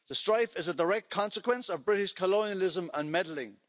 The strife is a direct consequence of British colonialism and meddling.